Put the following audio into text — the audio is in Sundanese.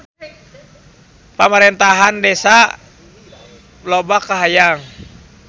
Pamarentahan Desa loba kahayang